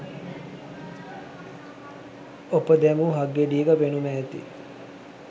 ඔප දැමූ හක්ගෙඩියක පෙනුම ඇති